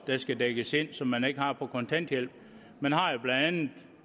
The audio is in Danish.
skal dækkes ind og som man ikke har på kontanthjælp man har jo blandt andet